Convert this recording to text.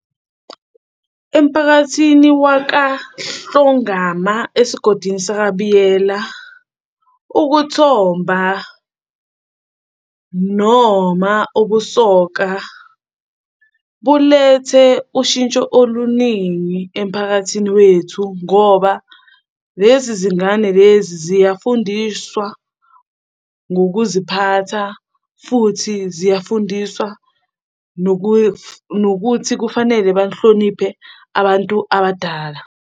Emphakathini wakaHlongama esigodini, sakaBiyela ukuthomba noma ukusoka bulethe ushintsho oluningi emphakathini wethu ngoba lezi zingane lezi ziyafundiswa ngokuziphatha, futhi ziyafundiswa nokuthi kufanele bahloniphe abantu abadala.